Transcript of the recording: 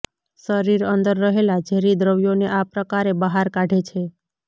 શરીર અંદર રહેલા ઝેરી દ્રવ્યોને આ પ્રકારે બહાર કાઢે છે